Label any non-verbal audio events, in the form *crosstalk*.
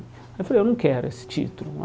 Aí eu falei, eu não quero esse título. *unintelligible*